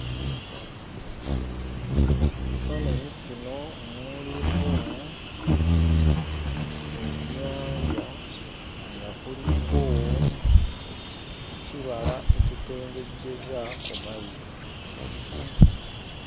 Mu kifaananyi kino mulimu ennyanja nga kuliko ekibala ekitengejjeza ku mazzi.